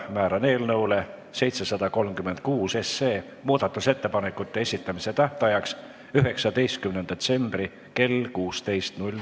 Määran eelnõu 736 muudatusettepanekute esitamise tähtajaks 19. detsembri kell 16.